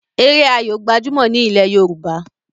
Eré Ayó gbajumo ní ilè yorùbá